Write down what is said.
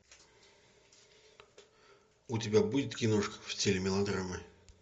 у тебя будет киношка в стиле мелодрамы